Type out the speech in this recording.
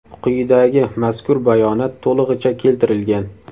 Quyidagi mazkur bayonot to‘lig‘icha keltirilgan.